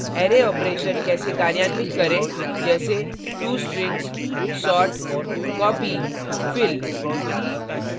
array operations कैसे कार्यान्वित करें जैसे to strings sort copy fill